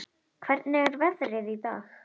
Hvernig er veðrið í dag?